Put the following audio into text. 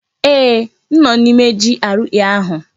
Eeh, m nọ n'ime GRA ahụ.